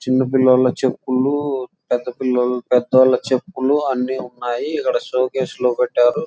చిన్నపిల్లలు చెప్పులు పెద్ద పిలలోళ్ల పెద్దవాళ్ళు చెప్పులు అన్నీ ఉన్నాయి ఇక్కడ షోకేస్ లోనపెట్టి ఉన్నాయి.